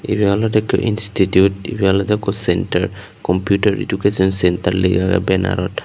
ibey olodey ikko institute ibey olodey ikko centre kompiutar edukason centre lega agey benarot.